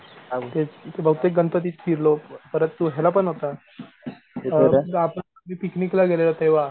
बहुतेक गणपतीत फिरलो परत तो ह्याला पण होता अअ आपण पिकनिक ला गेलेलो तेव्हा.